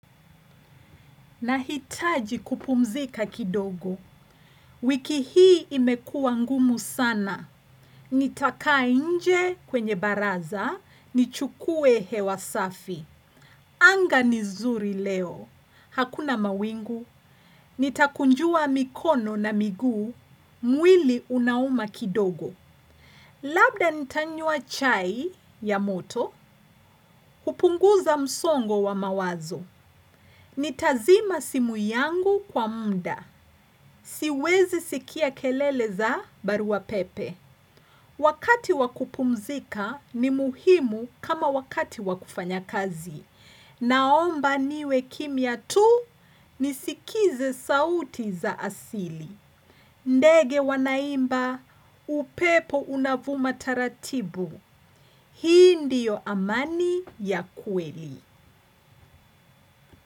Nahitaji kupumzika kidogo, wiki hii imekua ngumu sana, nitakaa inje kwenye baraza, nichukue hewa safi, anga nizuri leo, hakuna mawingu, nitakunjua mikono na miguu, mwili unauma kidogo. Labda nitanyua chai ya moto, kupunguza msongo wa mawazo, nitazima simu yangu kwa mda, siwezi sikia kelele za baru wa pepe. Wakati wakupumzika ni muhimu kama wakati wakufanya kazi, naomba niwe kimia tu nisikize sauti za asili. Ndege wanaimba, upepo unavuma taratibu, hii ndio amani ya kweli.